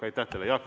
Aitäh teile!